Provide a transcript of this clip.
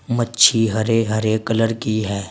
मच्छी हरे हरे कलर की हैं।